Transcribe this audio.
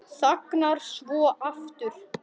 Þagnar svo aftur.